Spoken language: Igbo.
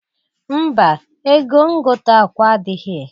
Mba! Ego ngota akwa adịghị.